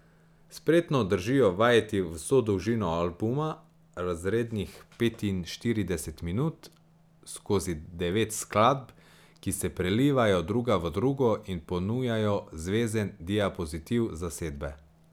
Spretno držijo vajeti vso dolžino albuma, razrednih petinštirideset minut, skozi devet skladb, ki se prelivajo druga v drugo in ponujajo zvezen diapozitiv zasedbe.